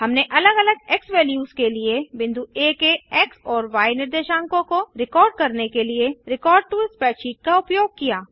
हमने अलग अलग एक्सवैल्यूज के लिए बिंदु आ के एक्स और य निर्देशांकों को रिकॉर्ड करने के लिए रेकॉर्ड टो स्प्रेडशीट का उपयोग किया